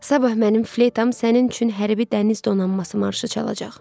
Sabah mənim fleytam sənin üçün hərbi dəniz donanması marşı çalacaq.